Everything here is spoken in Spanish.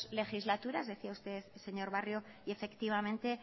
legislaturas decía usted señor barrio y efectivamente